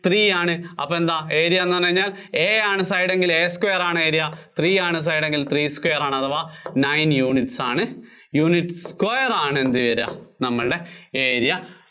three ആണ്. അപ്പോ എന്താ area എന്ന് പറഞ്ഞുകഴിഞ്ഞാല്‍ A ആണ് side എങ്കില്‍ A square ആണ് area. three ആണ് side എങ്കില്‍ three square ആണ് അഥവാ nine units ആണ്, units square ആണ് എന്താ വര്വാ നമ്മള്‍ടെ area